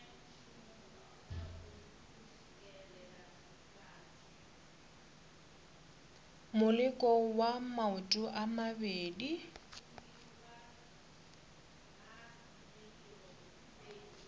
moleko wa maoto a mabedi